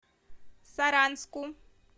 саранску